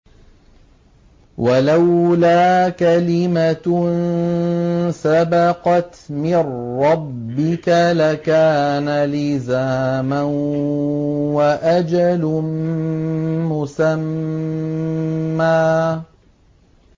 وَلَوْلَا كَلِمَةٌ سَبَقَتْ مِن رَّبِّكَ لَكَانَ لِزَامًا وَأَجَلٌ مُّسَمًّى